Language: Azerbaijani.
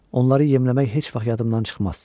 Onları yemləmək heç vaxt yadımdan çıxmaz.